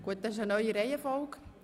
Das ist eine neue Reihenfolge.